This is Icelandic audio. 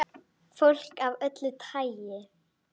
Farðu ekki.